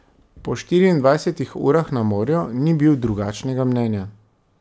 Po štiriindvajsetih urah na morju ni bil drugačnega mnenja.